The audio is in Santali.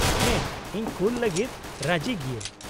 - ᱦᱮᱸ ᱤᱧ ᱠᱩᱞ ᱞᱟᱹᱜᱤᱫ ᱨᱟᱹᱡᱤ ᱜᱤᱭᱟᱹᱧ ᱾